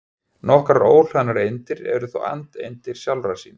Nokkrar óhlaðnar eindir eru þó andeindir sjálfra sín.